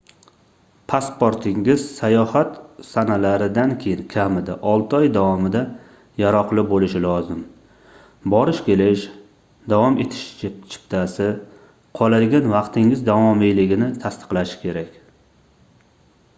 pasportingiz sayohat sanalaridan keyin kamida 6 oy davomida yaroqli boʻlishi lozim. borish-kelish/davom etish chiptasi qoladigan vaqtingiz davomiyligini tasdiqlashi kerak